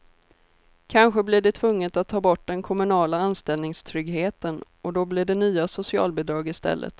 Kanske blir det tvunget att ta bort den kommunala anställningstryggheten och då blir det nya socialbidrag i stället.